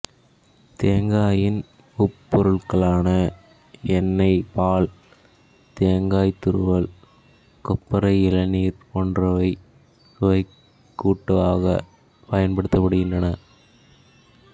தேங்காயின் உபப் பொருட்களான எண்ணெய் பால் தேங்காய்த்துருவல் கொப்பரை இளநீர் போன்றவை சுவைக்கூட்டாக பயன்படுத்தப் படுகின்றன